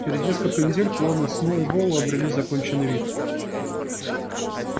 через несколько недель планы сноуболла обрели законченный вид